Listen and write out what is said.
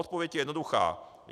Odpověď je jednoduchá.